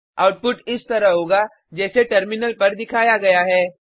output इस तरह होगा जैसे टर्मिनल पर दिखाया गया है